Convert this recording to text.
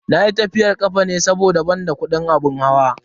Nayi tafiyar kafa ne saboda ban da kudin abin hawa.